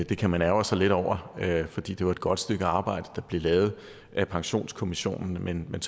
det kan man ærgre sig lidt over fordi det var et godt stykke arbejde der blev lavet af pensionskommissionen men det